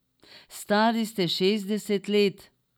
Stari ste šestdeset let.